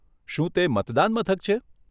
શું તે મતદાન મથક છે?